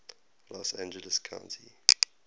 los angeles county